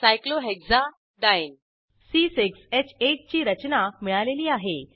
cyclohexadiene ची रचना मिळालेली आहे